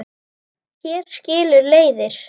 Hér skilur leiðir.